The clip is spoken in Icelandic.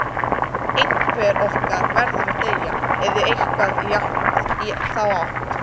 Einhver okkar verður að deyja, eða eitthvað í þá áttina